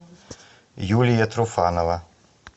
юлия труфанова